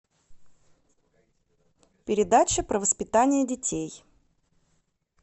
передача про воспитание детей